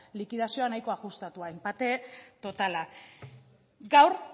likidazioa nahiko ajustatua enpate totala gaur